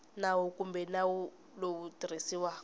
nawu kumbe nawu lowu tirhisiwaka